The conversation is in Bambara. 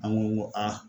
An ko a